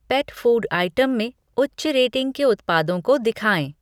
पेट food item में उच्च rating के उत्पादों को दिखाएँ।